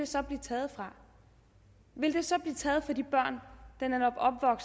så blive taget fra ville de så blive taget fra de børn